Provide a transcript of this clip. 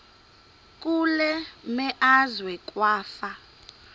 kule meazwe kwafa